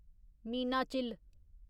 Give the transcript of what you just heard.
Meenachil